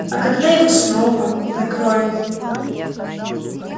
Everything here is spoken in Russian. а когда его снова накроет